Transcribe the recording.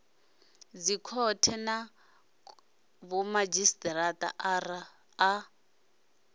dzikhothe na vhomadzhisi ara a